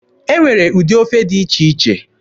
E nwere ụdị ofe dị iche iche.